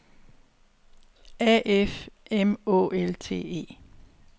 A F M Å L T E